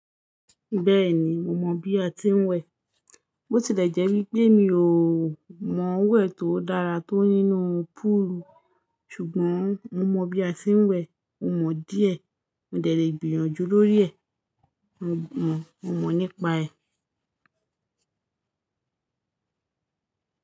Bẹ́ẹ̀ni, mo mọ̀ bí a ti ń wẹ̀. Bó ti lẹ̀ jẹ́ wípé mi ò mọ̀ wẹ̀ tó dára tó nínú púùlù. Ṣùgbọ́n mo mọ bí a ti ń wẹ̀, mo mọ̀ díẹ̀. Mo de le gbìyànjú lórí ẹ̀. Mo mọ̀, mo mọ̀ nípa ẹ̀.